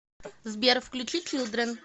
сбер включи чилдрен